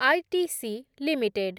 ITC limited